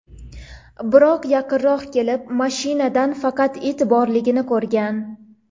Biroq yaqinroq kelib, mashinada faqat it borligini ko‘rgan.